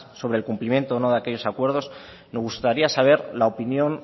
sobre el cumplimiento o no de aquellos acuerdos nos gustaría saber la opinión